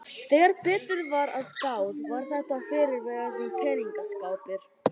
Þegar betur var að gáð var þetta fyrrverandi peningaskápur.